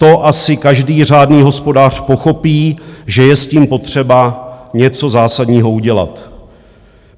To asi každý řádný hospodář pochopí, že je s tím potřeba něco zásadního udělat.